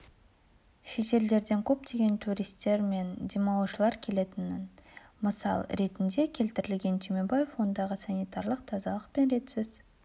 шетелдерден көптеген туристер мен демалушылар келетінін мысал ретінде келтірген түймебаев ондағы санитарлық тазалық пен ретсіз